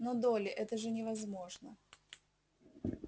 но долли это же невозможно